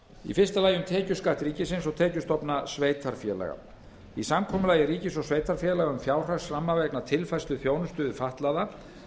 í fyrsta lagi um tekjuskatt ríkisins og tekjustofna sveitarfélaga í samkomulagi ríkis og sveitarfélaga um fjárhagsramma vegna tilfærslu þjónustu við fatlaða